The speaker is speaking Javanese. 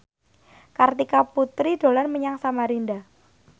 Kartika Putri dolan menyang Samarinda